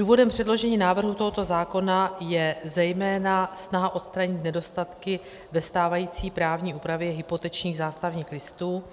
Důvodem předložení návrhu tohoto zákona je zejména snaha odstranit nedostatky ve stávající právní úpravě hypotečních zástavních listů